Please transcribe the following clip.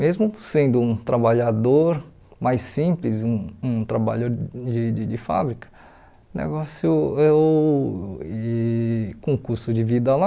Mesmo sendo um trabalhador mais simples, um um trabalho de de fábrica, o negócio, eu e com o custo de vida lá,